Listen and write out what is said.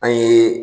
An ye